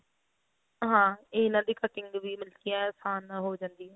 ਹਾਂ ਇਹਨਾ ਦੀ cutting ਵੀ ਏਂ ਆਸਾਨ ਨਾਲ ਹੋ ਜਾਂਦੀ ਹੈ